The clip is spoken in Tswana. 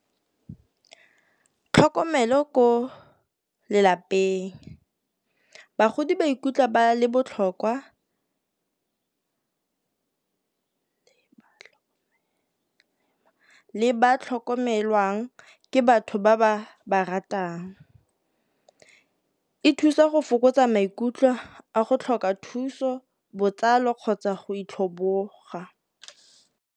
Tlhokomelo ko lelapeng, bagodi ba ikutlwa ba le botlhokwa le ba tlhokomelwang ke batho ba ba ratang. E thusa go fokotsa maikutlo a go tlhoka thuso botsalo kgotsa go itlhoboga.